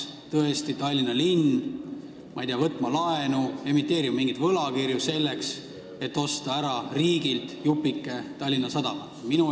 Või peaks Tallinna linn, ma ei tea, võtma laenu, emiteerima mingeid võlakirju, et osta riigilt ära jupike Tallinna Sadamat?